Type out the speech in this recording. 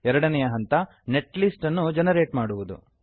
ಎರಡನೆಯ ಹಂತ net list ಅನ್ನು ಜೆನೆರೇಟ್ ಮಾಡುವುದು